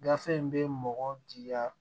Gafe in bɛ mɔgɔ jaa